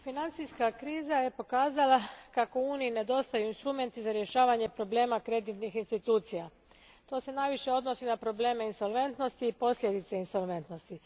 Gospodine predsjedniče, financijska kriza je pokazala kako Uniji nedostaju instrumenti za rješavanje problema kreditnih institucija. To se najviše odnosi na probleme insolventnosti i posljedice insolventnosti.